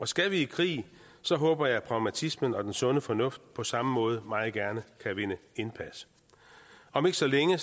skal vi i krig håber jeg at pragmatismen og den sunde fornuft på samme måde meget gerne kan vinde indpas om ikke så længe